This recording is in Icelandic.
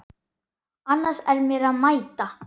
Annars er mér að mæta!